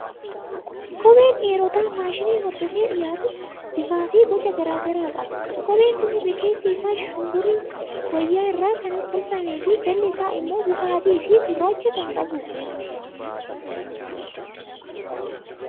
Kopheen dhiirotaa faashinii hordofee dhiyaatu bifaa fi boca garaa garaa qaba. Kopheen kun irri keessi isaa shumburii wayyaa irraa kan tolfamee fi jalli isaa immoo bifa adii fi gurraacha kan qabudha.